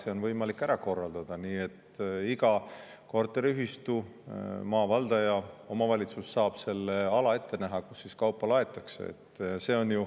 See on võimalik ära korraldada nii, et iga korteriühistu, maavaldaja, omavalitsus saab ette näha selle ala, kus kaupa laaditakse.